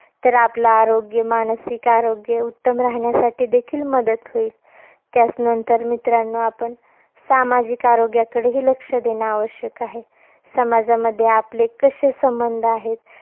तर आपलं आरोग्य, मानसिक आरोग्य उत्तम राहण्यासाठी देखील मदत होईल. त्याचं नंतर मित्रांनो आपण, सामाजिक आरोग्याकडेही लक्ष देणं आवश्यक आहे. समाजामध्ये आपले कसे संबंध आहेत.